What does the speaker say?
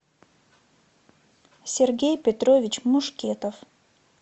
сергей петрович мушкетов